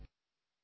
ନମସ୍କାର